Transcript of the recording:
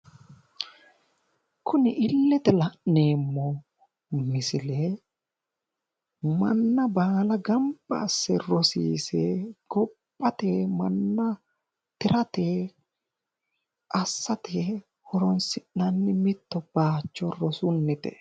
Kuni illete la'neemmo misile manna baala gamba asse rosiise kophate manna tirate assate horoonsi'nanni mitto bayicho rosunnite